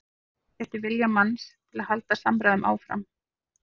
Það fer kannski eftir vilja manns til að halda samræðum áfram.